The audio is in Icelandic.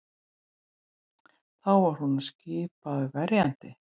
Þá var honum skipaður verjandi